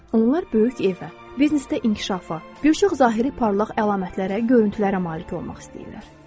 Onlar böyük evə, biznesdə inkişafa, bir çox zahiri parlaq əlamətlərə, görüntülərə malik olmaq istəyirlər.